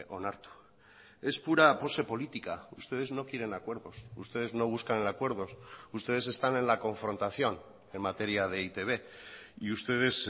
onartu es pura pose política ustedes no quieren acuerdos ustedes no buscan acuerdos ustedes están en la confrontación en materia de e i te be y ustedes